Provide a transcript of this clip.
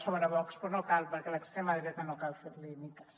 sobre vox però no cal perquè a l’extrema dreta no cal fer li ni cas